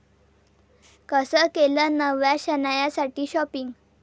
कसं केलं नव्या शनायासाठी शाॅपिंग?